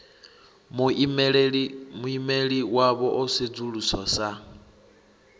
muimeli wavho o sedzuluswa sa